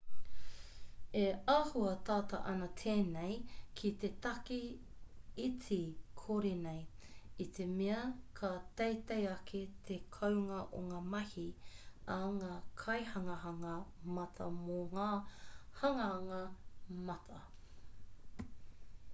e āhua tata ana tēnei ki te take iti kore nei i te mea ka teitei ake te kounga o ngā mahi a ngā kaihanganga mata mō ngā hanganga mata